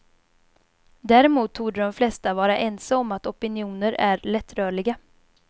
Däremot torde de flesta vara ense om att opinioner är lättrörliga.